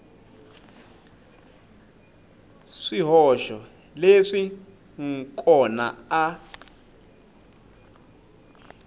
swihoxo leswi n kona a